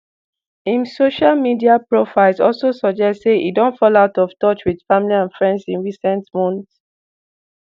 im social media profiles also suggest say e don fall out of touch with family and friends in recent months.